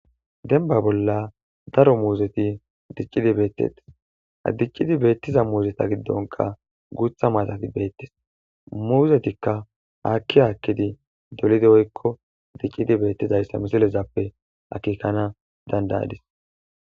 Demba bolla daro muzethi dicid bethetes ha dicid bethiza muzetha gidonka gutha mallali bethetes muzethika akki akkidi coorrize woykko Dicid bethizayissa akekanas dandaadis